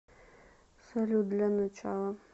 салют для начала